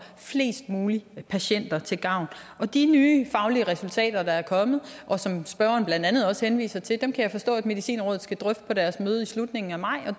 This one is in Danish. flest mulige patienter til gavn de nye faglige resultater der er kommet og som spørgeren blandt andet også henviser til kan jeg forstå at medicinrådet skal drøfte på deres møde i slutningen af maj og